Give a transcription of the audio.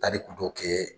Tariku dɔ kɛ